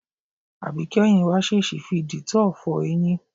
Àbíké̩yìn wa s̩ès̩ì fi dìtó̩ò̩ fo̩ e̩yín.